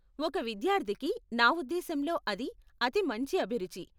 ఒక విద్యార్ధికి, నా ఉద్దేశంలో, అది అతి మంచి అభిరుచి.